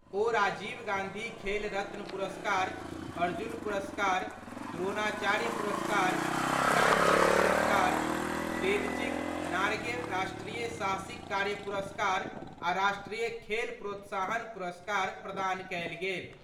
ओ राजीव गांधी खेल रत्न पुरस्कार, अर्जुन पुरस्कार, द्रोणाचार्य पुरस्कार, ध्यानचंद पुरस्कार, तेनजिंग नारगे राष्ट्रीय साहसिक कार्य पुरस्कार आ राष्ट्रीय खेल प्रोत्साहन पुरस्कार प्रदान कएल गेल।